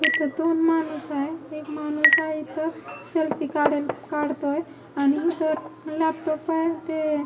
इथं दोन माणूस आहे एक माणूस आहे इथं सेल्फी काढेल काढतोय आणि इथं लॅपटॉप आहे ते--